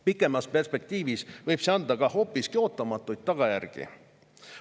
Pikemas perspektiivis võib see põhjustada hoopiski ootamatuid tagajärgi.